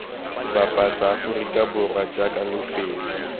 bapatsa aforika borwa jaaka lefelo